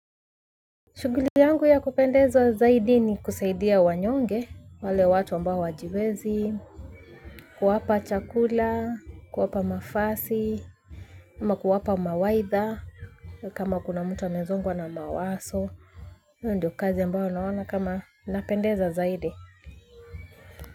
Shughuli yangu ya kupendeza zaidi ni kusaidia wanyonge wale watu ambao hawajiwezi, kuwapa chakula, kuwapa mavazi ama kuwapa mawaidha kama kuna mtu amezongwa na mawazo hiyo ndio kazi ambayo naona kama inapendeza zaidi.